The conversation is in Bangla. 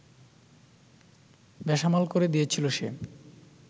বেসামাল করে দিয়েছিল সে